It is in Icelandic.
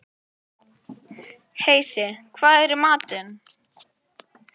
Heisi, hvað er í matinn?